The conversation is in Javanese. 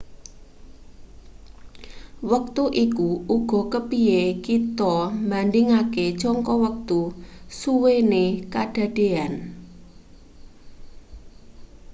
wektu iku uga kepiye kita mbandhingake jangka wektusuwene kedadean